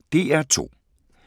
DR2